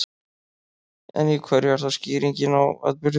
En í hverju er þá skýring á atburði fólgin?